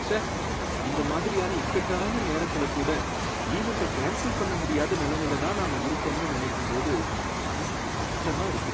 ச்சே! இந்த மாதிரியான இக்கட்டான நேரத்துல கூட ஈவண்ட்ட கேன்ஸல் பண்ண முடியாத நலமையில தான் நாம இருக்கோம்னு நினைக்கும் போது மனசுக்கு கஷ்டமா இருக்கு